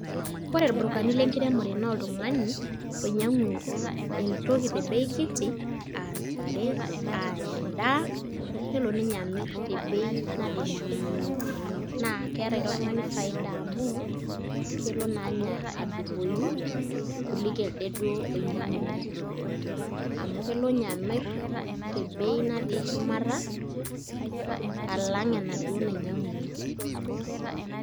Ore irburukani lenkiremore naa oltung'ani oinyiang'u ntokitin tebei e abori aa ntare aa endaa nelo ninye, amirr tebei natii shumata naa keeta ilo tung'ani faida amu kelo naa ninye adupoyu kuliko elde duo oinyiang'unyie amu kelo ninye amirr tebei natii shumata alang' enaduo ninyiang'unyie.